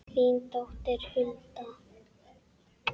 Þín dóttir Hulda.